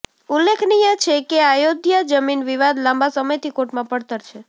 ઉલ્લેખનીય છે કે અયોધ્યા જમીન વિવાદ લાંબા સમયથી કોર્ટમાં પડતર છે